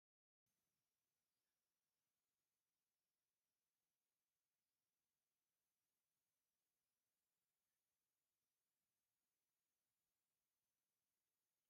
ካብ እቶም ኣዝዩ ብዙሓት ጥቅምታት ኣለዎ ካብ ዝብሃሉ ተከሊ ሓደ ዝኮነ እዩ። ንፀጉርናን ንነብስና ዝተፈላለየ ጥቅሚ ኣለዎ። እንታይ ይብሃል ሽሙ?